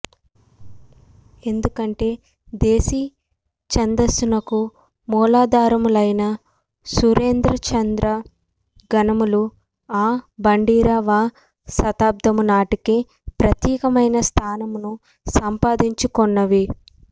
ఎందుకంటే దేశి ఛందస్సునకు మూలాధారములైన సూర్యేంద్రచంద్ర గణములు ఆఱవ శతాబ్దము నాటికే ప్రత్యేకమైన స్థానమును సంపాదించుకొన్నవి